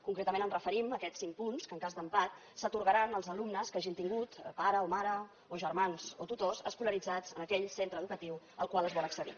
concretament ens referim a aquests cinc punts que en cas d’empat s’atorgaran als alumnes que hagin tingut pare o mare o germans o tutors escolaritzats en aquell centre educatiu al qual es vol accedir